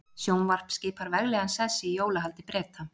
Sjónvarp skipar veglegan sess í jólahaldi Breta.